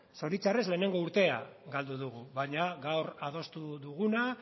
zoritxarrez lehenengo urtea galdu dugu baina gaur adostu duguna